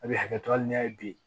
A bɛ hakɛ to hali n'a ye bi